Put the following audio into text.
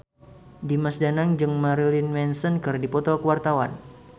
Dimas Danang jeung Marilyn Manson keur dipoto ku wartawan